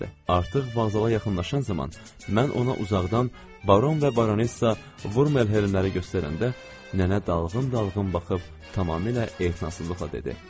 Artıq vağzala yaxınlaşan zaman mən ona uzaqdan baron və baronessa Vurmelhelmləri göstərəndə nənə dalğın-dalğın baxıb tamamilə ehtinassızlıqla dedi: